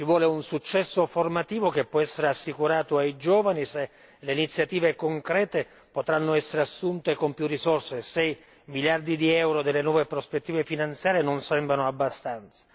È necessario un successo formativo, che può essere assicurato ai giovani se le iniziative concrete potranno essere assunte con maggiori risorse, se i miliardi di euro delle nuove prospettive finanziarie non sembrano abbastanza.